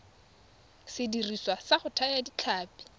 sediriswa sa go thaya ditlhapi